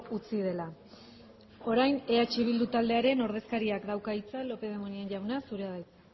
utzi dela orain eh bildu taldearen ordezkariak dauka hitza lópez de munain jauna zurea da hitza